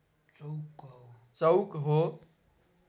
चौक हो